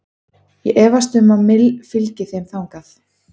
Ég efast um að Mill fylgi þeim þar.